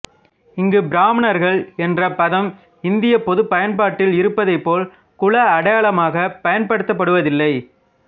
இங்கு பிராமணர்கள் என்ற பதம் இந்தியப் பொதுப் பயன்பாட்டில் இருப்பது போல் குல அடையாளமாகப் பயன்படுத்தப்படுவதில்லை